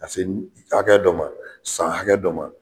Ka se hakɛ dɔ ma san hakɛ dɔ ma